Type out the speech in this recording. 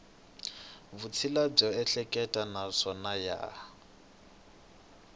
vutshila byo ehleketa naswona ya